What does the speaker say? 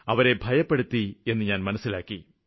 അവരെ ഭയപ്പെടുത്തി എന്നു ഞാന് മനസ്സിലാക്കി